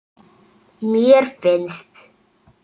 mér finnst